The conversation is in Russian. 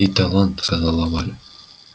и талант сказала валя